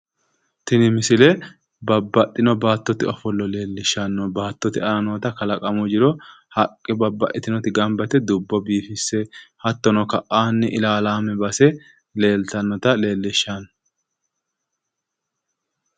Tini misile babbaxxino baattote ofollo leellishshanno. Baattote aana noota kalaqamu jiro haqqe babbaxxitinoti gamba yite dubbo biifisse hattono ka'aanni higge ilaalaame base leeltanno.